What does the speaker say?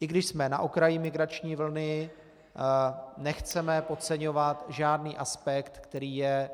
I když jsme na okraji migrační vlny, nechceme podceňovat žádný aspekt, který je